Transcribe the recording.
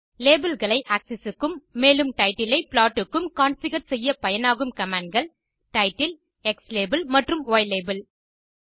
labels ஐaxis க்கும் மேலும் டைட்டில் ஐ ப்ளாட் க்கும் கான்ஃபிகர் செய்ய பயனாகும் commandகள் டைட்டில் க்ஸ்லாபெல் மற்றும் யிலாபெல்